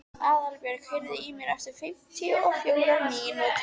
Aðalbjörg, heyrðu í mér eftir fimmtíu og fjórar mínútur.